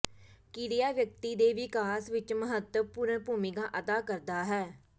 ਕਿਰਿਆ ਵਿਅਕਤੀ ਦੇ ਵਿਕਾਸ ਵਿੱਚ ਮਹੱਤਵਪੂਰਣ ਭੂਮਿਕਾ ਅਦਾ ਕਰਦਾ ਹੈ